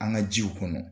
An ka jiw kɔnɔ